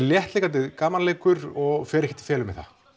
léttleikandi gamanleikur og fer ekkert í felur með það